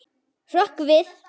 Hrökk við.